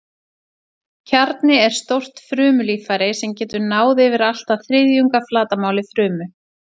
Kjarni er stórt frumulíffæri sem getur náð yfir allt að þriðjung af flatarmáli frumu.